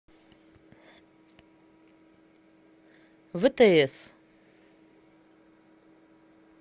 втс